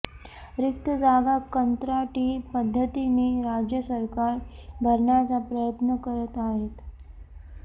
रिक्त जागा कंत्राटी पद्धतीने राज्य सरकार भरण्याचा प्रयत्न करत आहेत